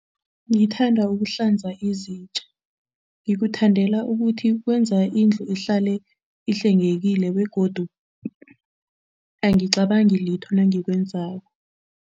Ngithanda ukuhlanza izitja. Ngikuthandela ukuthi kwenza indlu ihlale ihlwengekile begodu angicabangi litho nangikwenzako.